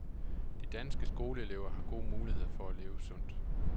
De danske skoleelever har gode muligheder for at leve sundt.